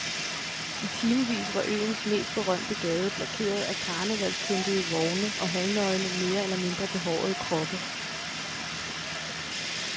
I timevis var øens mest berømte gade blokeret af karnevalspyntede vogne og halvnøgne mere eller mindre behårede kroppe.